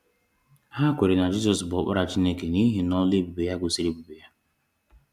Ha kweere na Jizọs bụ Ọkpara Chineke n’ihi na ọlụ ebube ya gosiri ebube ya.